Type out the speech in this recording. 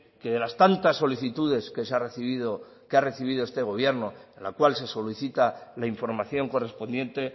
que de las tantas solicitudes que se ha recibido que ha recibido este gobierno en la cual se solicita la información correspondiente